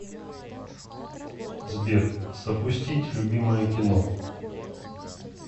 сбер запустить любимое кино